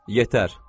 Yetər!